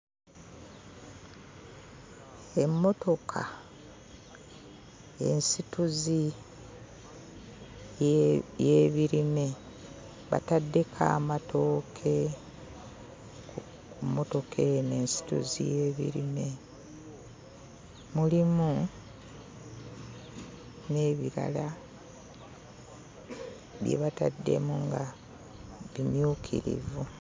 Emmotoka ensituzi ye y'ebirime, bataddeko amatooke ku ku mmotoka eno ensituzi y'ebirime. Mulimu n'ebirala bye bataddemu nga bimyukirivu.